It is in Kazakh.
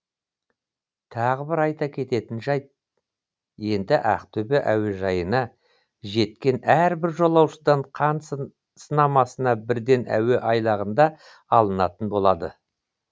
тағы бір айта кететін жайт енді ақтөбе әуежайына жеткен әрбір жолаушыдан қан сынамасы бірден әуе айлағында алынатын болады